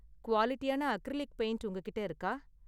குவாலிடியான acrylic paint உங்ககிட்ட இருக்கா?